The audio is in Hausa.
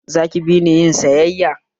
Za ki bini yin sayayya?